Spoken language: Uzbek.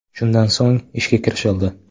Shundan so‘ng ishga kirishildi.